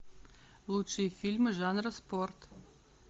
лучшие фильмы жанра спорт